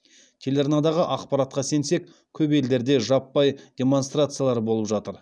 телеарнадағы ақпаратқа сенсек көп елдерде жаппай демонстрациялар болып жатыр